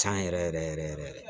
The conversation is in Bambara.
Can yɛrɛ yɛrɛ yɛrɛ